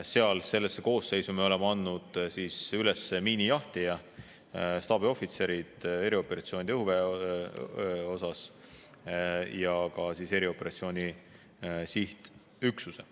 Sellesse koosseisu me oleme andnud üles miinijahtija, staabiohvitserid erioperatsioonide ja ja ka erioperatsiooni sihtüksuse.